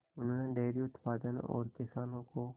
उन्होंने डेयरी उत्पादन और किसानों को